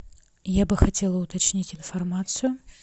я бы хотела уточнить информацию